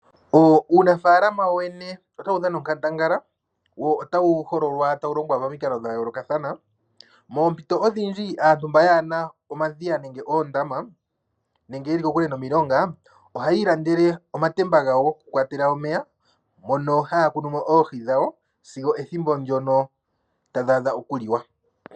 Uunafaalama wowene otawu dhama onkandangala nomilonga oha yi ilandele omatemba oohi dhawo sigo ethimbo ndono tadhi adha okuliwa .